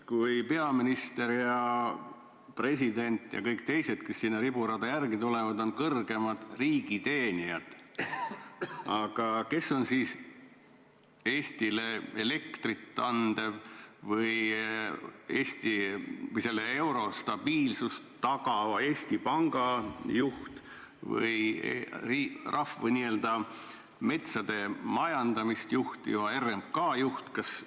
Kui peaminister ja president ja kõik teised, kes seal riburada pidi järele tulevad, on kõrgemad riigiteenijad, siis kes on Eestile elektrit andva asutuse juht või euro stabiilsust tagava Eesti Panga juht või rahva metsade majandamist juhtiva RMK juht?